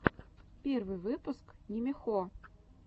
первый выпуск нимихо